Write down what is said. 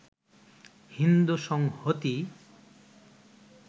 হিন্দু সংহতি